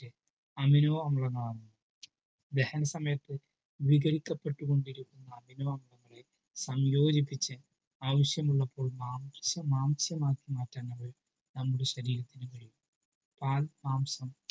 amino അമ്ലം ആണ് ദഹന സമയത്തുവിഘടിക്കപ്പെട്ടുകൊണ്ടിരിക്കുന്ന amino അമ്ലങ്ങളെ സംയോജിപ്പിച്ച് ആവിശ്യമുള്ളപ്പോൾ മാംസം മാംസമാക്കി മാറ്റാൻ നമ്മുടെ ശരീരത്തിന് കഴിയും പാഴ് മാംസം